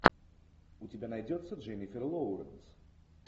у тебя найдется дженнифер лоуренс